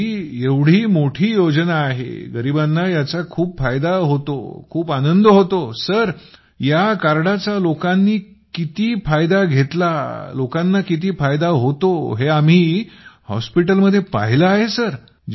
sir ही एवढी मोठी योजना आहे गरिबांना याचा खूप फायदा होतो आणि खूप आनंद होतो सर या कार्डचा लोकांना किती फायदा होतो हे आम्ही हॉस्पिटलमध्ये पाहिले आहे